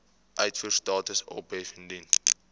uitvoerstatus ophef indien